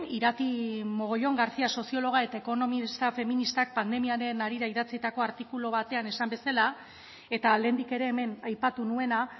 irati mogollon garcia soziologa eta ekonomista feministak pandemiaren harira idatzitako artikulu batean esan bezala eta lehendik ere hemen aipatu nuena